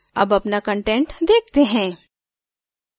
अब अपना content देखते हैं